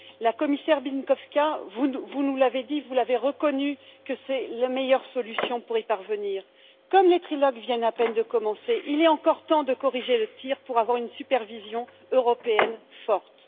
Madame la Commissaire Bieńkowska, vous nous l'avez dit, vous avez reconnu que c'est la meilleure solution pour y parvenir. Comme les trilogues viennent à peine de commencer, il est encore temps de corriger le tir pour avoir une supervision européenne forte.